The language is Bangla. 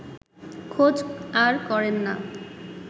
খোঁজ আর করেন না